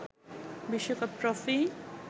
বিশ্বকাপ ট্রফি